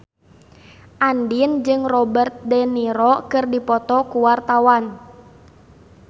Andien jeung Robert de Niro keur dipoto ku wartawan